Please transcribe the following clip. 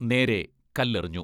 നേരെ കല്ലെറിഞ്ഞു.